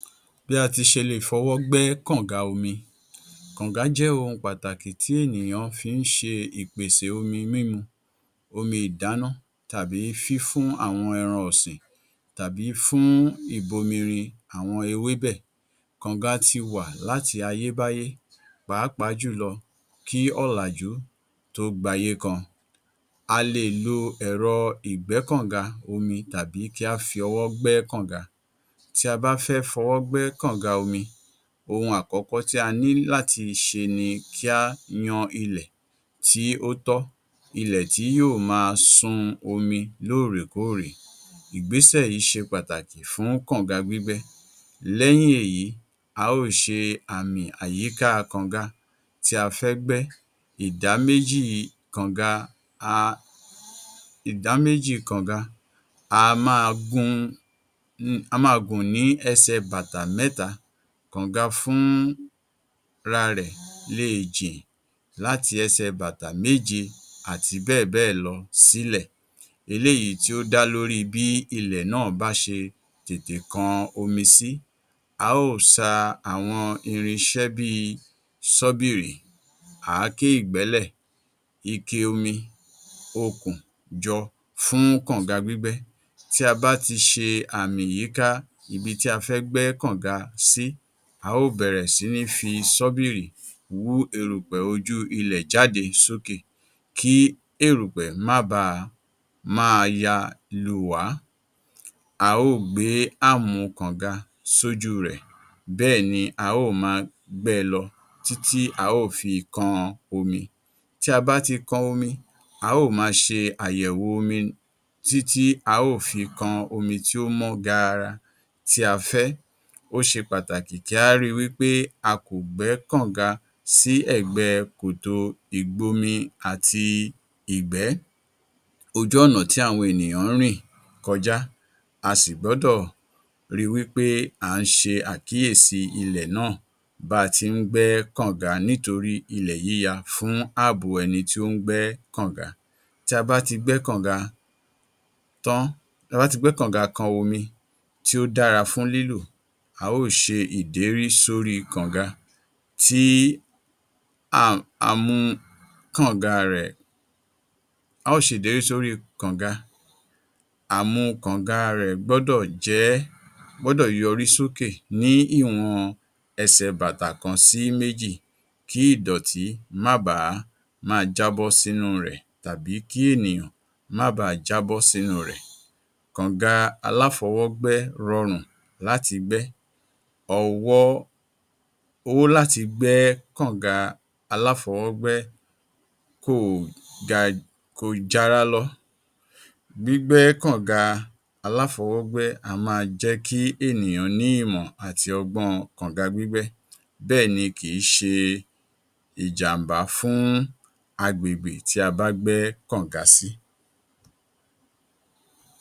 Bí a ti ṣe lè fọwọ́ gbẹ́ kọ̀ǹga omi. Kọ̀ǹga jẹ́ ohun pàtàkì tí ènìyàn fi ń ṣe ìpèsè omi mímu, omi ìdáná tàbí fífún àwọn ẹran ọ̀sin tàbí fún ìbòmírìn àwọn ewébẹ̀. Kọ̀ǹga ti wà láti ayébáyé pàápàá jùlọ kí ọ̀làjú tó gbayé kan. A lè lo ẹ̀rọ ìgbẹ́kọ̀ǹga omi tàbí kí á fi ọwọ́ gbẹ́ kọ̀ǹga. Tí a bá fẹ́ fọwọ́ gbẹ́ kọ̀ǹga omi, ohun àkọ́kọ́ tí a ní láti ṣe ni kí á yan ilẹ̀ tí ó tọ́, ilẹ̀ tí yóò máa sun omi lóòrèkóòrè. Ìgbésẹ̀ yìí ṣe pàtàkí fún kọ̀ǹga gbígbẹ́. Lẹ́yìn èyí, a ó ṣe àmì àyíká kọ̀ǹga tí a fẹ́ gbẹ́. Ìdáméjì kọ̀ǹga um ìdáméjì kọ̀ǹga, á máa gun, á máa gùn ní ẹ̀sẹ̀ bàtà mẹ́ta. Kọ̀ǹga fúnra rẹ̀ léè jìn láti ẹsẹ̀ bàtà méje àti bẹ́ẹ̀bẹ́ẹ̀lọ sílẹ̀. Eléyìí tí ó dá lórí bí ilẹ̀ náà bá ṣe tètè kan omi sí. A ó ṣa àwọn irinṣẹ́ bíi ṣọ́bìrì, àáké ìgbẹ́lẹ̀, ike omi, okùn jọ fún kọ̀ǹga gbígbẹ́. Tí a bá ti ṣe àmì yíká ibi tí a fẹ́ gbẹ́ kọ̀ǹga sí, a ó bẹ̀rẹ̀ si ní fi ṣọ́bìrì hú erùpẹ̀ ojú ilẹ̀ jáde sókè. Kí erùpẹ̀ má ba máa ya lùwá, a ó gbé kọ̀ǹga sójú rẹ̀ bẹ́ẹ̀ ni a ó máa gbẹẹ lọ títí a ó fi kan omi. Tí a bá ti kan omi, a ó máa ṣe àyẹ̀wò omi títí a ó fi kan omi tí ó mọ gààrà tí a fẹ́. Ó ṣe pàtàkì kí á ri wípé a kò gbẹ́ kọ̀ǹga sí ẹ̀gbẹ́ kòtò ìgbomi àti ìgbẹ́, ojú ọ̀nà tí àwọn ènìyàn ń rìn kọjá. A sì gbọ́dọ̀ ri wípé à ń ṣe àkíyèsí ilẹ̀ náà bá a ti ń gbẹ́ kọ̀ǹga nítorí ilẹ̀ yíya fún ààbò ẹni tí ó ń gbẹ́ kọ̀ǹga. Tí a bá ti gbẹ́ kọ̀ǹga tán, tí a bá ti gbẹ́ kọ̀ǹga kan omi tí ó dára fún lílò, a ó ṣe ìdérí sórí kọ̀ǹga tí a amú kọ̀ǹga rẹ̀ a ó ṣèdérí sóri kọ̀ǹga àmu kọ̀ǹga rẹ̀ gbọ́dọ̀ jẹ́ gbọ́dọ̀ yọrí sókè ní ìwọ̀n ẹsẹ̀ bàtà kan sí méjì kí ìdọ̀tí má bàá ma jábọ́ sínú rẹ̀ tàbí kí ènìyàn má bàá jábọ́ sínú rẹ̀. kọ̀ǹga aláfọwọ́gbẹ́ rọrùn láti gbẹ́ ọwọ́ ó láti gbẹ́ kọ̀ǹga aláfọwọ́gbẹ́ kò ga kò jara lọ. Gbígbẹ́ kọ̀ǹga aláfọwọ́gbẹ́ á máa jẹ́ kí ènìyàn ní ìmọ̀ àti ọgbọ́n-ọn kọ̀ǹga gbígbẹ́ bẹ́ẹ̀ ni kì í ṣe ìjàm̀bá fún agbègbè tí a bá gbẹ́ kọ̀ǹga sí.